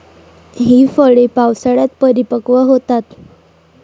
ही फळे पावसाळ्यात परिपक्व होतात.